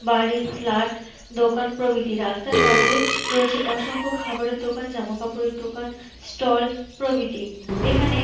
বাড়ি ফ্লাট দোকান প্রবৃত্তি রাস্তার পাশে রয়েছে অসংখ্য খাবারের দোকান জামাকাপড়ের দোকান ষ্টল প্রবৃত্তি এখানে--